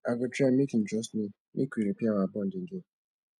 i go try make im trust me make we repair our bond again